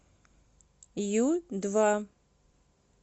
ю два